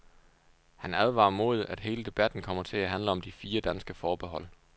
Han advarer mod, at hele debatten kommer til at handle om de fire danske forbehold.